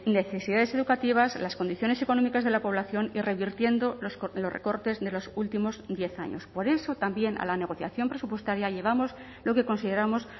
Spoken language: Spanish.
necesidades educativas las condiciones económicas de la población y revirtiendo los recortes de los últimos diez años por eso también a la negociación presupuestaria llevamos lo que consideramos